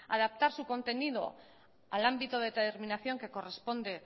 adaptar su contenido al ámbito de determinación que corresponde